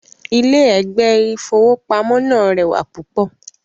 Ilé ẹ̀gbẹ́ ìfowópamó náà rẹwà púpọ̀